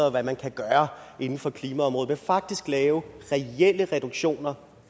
og hvad man kan gøre inden for klimaområdet men faktisk lave reelle reduktioner